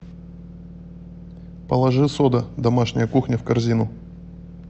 положи сода домашняя кухня в корзину